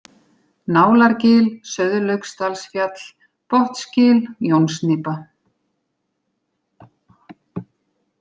Nálargil, Sauðlauksdalsfjall, Botnsgil, Jónsnípa